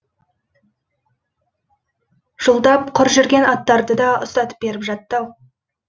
жылдап құр жүрген аттарды да ұстатып беріп жатты ау